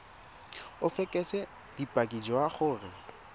o fekese bopaki jwa gore